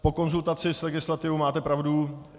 Po konzultaci s legislativou máte pravdu.